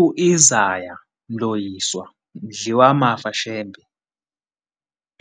U-Isaya Mloyiswa Mdliwamafa Shembe,